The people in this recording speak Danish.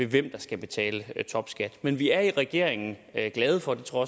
hvem der skal betale topskat men vi er i regeringen glade for og det tror